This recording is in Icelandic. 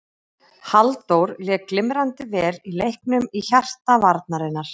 Halldór lék glimrandi vel í leiknum í hjarta varnarinnar.